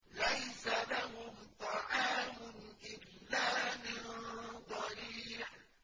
لَّيْسَ لَهُمْ طَعَامٌ إِلَّا مِن ضَرِيعٍ